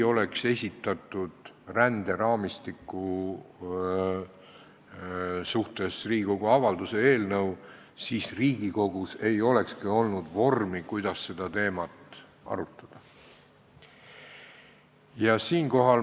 Kui ränderaamistiku kohta ei oleks esitatud Riigikogu avalduse eelnõu, siis Riigikogus ei olekski olnud vormi, kuidas seda teemat arutada.